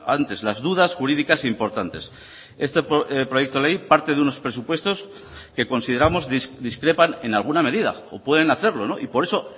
antes las dudas jurídicas importantes este proyecto de ley parte de unos presupuestos que consideramos discrepan en alguna medida o pueden hacerlo y por eso